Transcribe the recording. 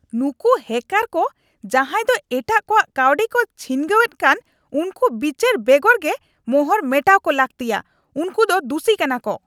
ᱱᱩᱝᱠᱩ ᱦᱮᱠᱟᱨ ᱠᱚ ᱡᱟᱦᱟᱭ ᱫᱚ ᱮᱴᱟᱜ ᱠᱚᱣᱟᱜ ᱠᱟᱹᱣᱰᱤᱠᱚ ᱪᱷᱤᱱᱜᱟᱹᱣ ᱮᱫ ᱠᱟᱱ ᱩᱝᱠᱩ ᱵᱤᱪᱟᱹᱨ ᱵᱮᱜᱚᱨᱜᱮ ᱢᱚᱦᱚᱨ ᱢᱮᱴᱟᱣ ᱠᱚ ᱞᱟᱹᱜᱛᱤᱭᱟ ᱾ ᱩᱝᱠᱩ ᱫᱚ ᱫᱩᱥᱤ ᱠᱟᱱᱟᱠᱚ ᱾ (ᱜᱟᱛᱮ ᱒)